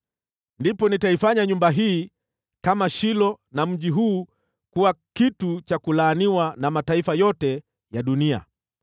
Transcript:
ndipo nitaifanya nyumba hii kama Shilo na mji huu kuwa kitu cha kulaaniwa na mataifa yote ya dunia.’ ”